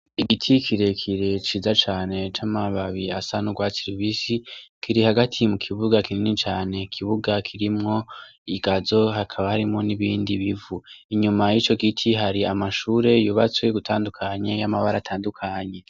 Igiti kirekire ciza cane c'amababi asa n'urwatsi rubisi, kiri hagati mu kibuga kinini cane ,ikibuga kirimwo igazo hakaba harimwo n'ibindi bivu. Inyuma y'ico giti hari amashure yubatswe ugutandukanye y'amabara atandukanye.